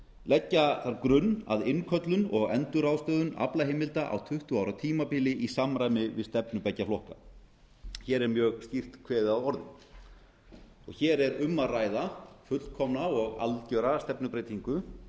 leggja þarf grunn að innköllun og endurráðstöfun aflaheimilda á tuttugu ára tímabili í samræmi við stefnu beggja flokka hér er mjög skýrt kveðið að orði hér er um að ræða fullkomna og algjöra stefnubreytingu